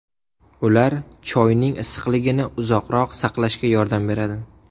Ular choyning issiqligini uzoqroq saqlashga yordam beradi.